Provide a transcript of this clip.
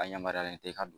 A yamaruyalen tɛ i ka don